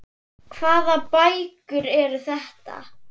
Hvaða bækur eru þetta?